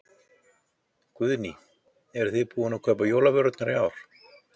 Guðný: Eruð þið búin að kaupa jólavörurnar í ár?